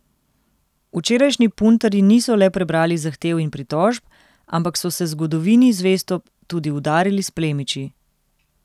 Včerajšnji puntarji niso le prebrali zahtev in pritožb, ampak so se zgodovini zvesto tudi udarili s plemiči.